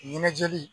Ɲɛnajɛ